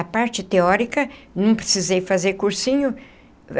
A parte teórica, não precisei fazer cursinho.